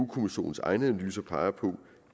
kommissionens egne analyser peger på